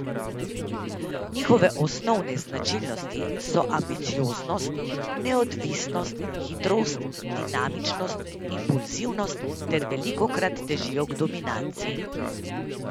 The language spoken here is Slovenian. Njihove osnovne značilnosti so ambicioznost, neodvisnost, hitrost, dinamičnost, impulzivnost ter velikokrat težijo k dominanci.